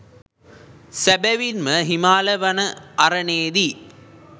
සැබැවින්ම හිමාල වන අරණේදී